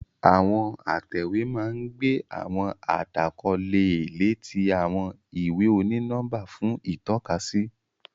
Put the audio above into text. Àwọn atẹwe n gbé àwọn àdàkọ leè lé ti àwọn ìwé oni-nọmba fún itọkasi.